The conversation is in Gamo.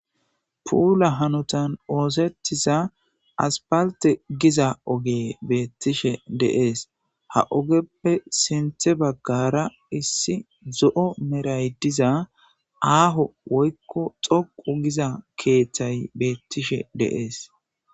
Puula hanotan oosettiza aspalte giza oge beettishe deees ha ogeppe sinthe baggara issi zo'o meray diza aaho woykko xoqu giza keeththay beettishe deees.